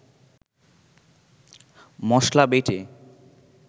মসলা বেটে